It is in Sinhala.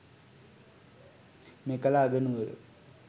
මෙකල අගනුවර